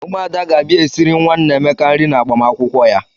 Ụmụada ga-abịa esiri nwa Nneamaka nri n'agbamakwụkwọ ya.